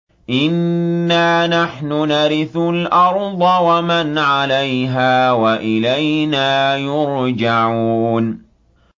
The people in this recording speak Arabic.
إِنَّا نَحْنُ نَرِثُ الْأَرْضَ وَمَنْ عَلَيْهَا وَإِلَيْنَا يُرْجَعُونَ